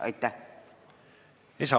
Aitäh!